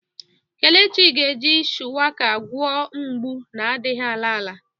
Kelechi ga-eji shuwaka gwọọ mgbu na-adịghị ala ala.